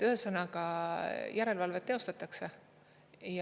Ühesõnaga järelevalvet teostatakse.